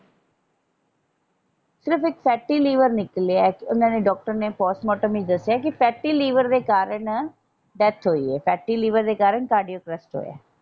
ਸਿਰਫ ਇੱਕ fatty liver ਨਿਕਲਿਆ ਓਹਨਾ ਨੇ ਡਾਕਟਰ ਨੇ ਪੋਸਟ ਮਾਰਟਮ ਵਿੱਚ ਦੱਸਿਆ ਹੈ ਕਿ ਫੈਟੀ ਲੀਵਰ ਦੇ ਕਾਰਨ ਡੈਥ ਹੋਈ ਏ ਫੈਟੀ ਲੀਵਰ ਦੇ ਕਾਰਨ ਕਾਰਡੀਅਕ ਅਰੈੱਸਟ ਹੋਇਆ।